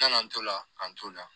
Yann'an to la ka n to la